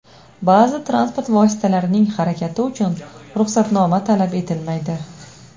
Ba’zi transport vositalarining harakati uchun ruxsatnoma talab etilmaydi .